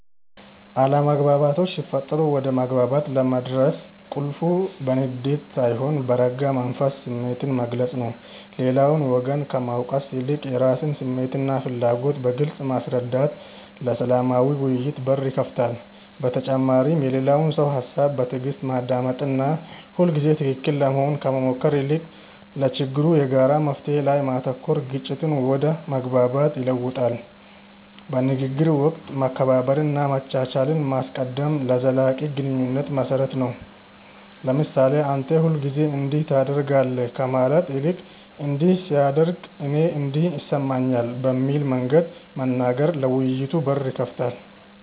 አለመግባባቶች ሲፈጠሩ ወደ መግባባት ለመድረስ ቁልፉ በንዴት ሳይሆን በረጋ መንፈስ ስሜትን መግለጽ ነው። ሌላውን ወገን ከመውቀስ ይልቅ የራስን ስሜትና ፍላጎት በግልጽ ማስረዳት ለሰላማዊ ውይይት በር ይከፍታል። በተጨማሪም የሌላውን ሰው ሃሳብ በትዕግስት ማዳመጥና ሁልጊዜ ትክክል ለመሆን ከመሞከር ይልቅ ለችግሩ የጋራ መፍትሔ ላይ ማተኮር ግጭትን ወደ መግባባት ይለውጠዋል። በንግግር ወቅት መከባበርንና መቻቻልን ማስቀደም ለዘላቂ ግንኙነት መሰረት ነው። ለምሳሌ "አንተ ሁልጊዜ እንዲህ ታደርጋለህ" ከማለት ይልቅ "እንዲህ ሲደረግ እኔ እንዲህ ይሰማኛል" በሚል መንገድ መናገር ለውይይት በር ይከፍታል።